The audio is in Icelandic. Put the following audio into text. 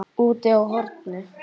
Úti á horni.